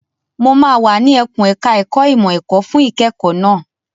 Mo máa wà ní ẹkùn ẹ̀ka ẹ̀kó ìmọ̀ ẹ̀kọ́ fún ìkẹ́kọ̀ọ́ náà.